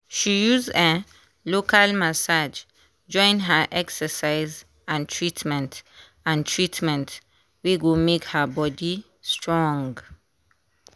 she use um local massage join her excercise and treatment and treatment wey go make her body strong.